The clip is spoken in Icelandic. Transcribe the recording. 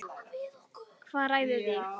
Hvað ræður því?